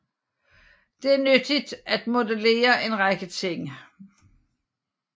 Det er nyttigt til at modellere en række ting